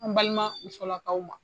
An balima musolakaw ma